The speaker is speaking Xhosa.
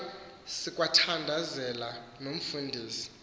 kwaye sikwathandazela nomfundisi